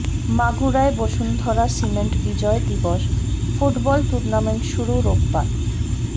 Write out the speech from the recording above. মাগুরায় Bashundhara cement Bijoy Dibosh football tournament শুরু রোববার